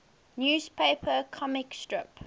newspaper comic strip